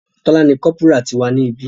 Tola ní Corporal tí wá ní ibí.